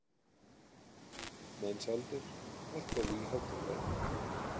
Mensalder, hækkaðu í hátalaranum.